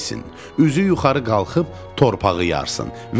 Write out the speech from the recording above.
Üzü yuxarı qalxıb torpağı yarsın.